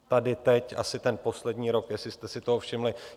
Tady teď asi ten poslední rok, jestli jste si toho všimli.